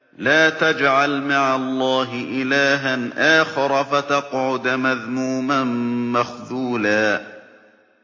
لَّا تَجْعَلْ مَعَ اللَّهِ إِلَٰهًا آخَرَ فَتَقْعُدَ مَذْمُومًا مَّخْذُولًا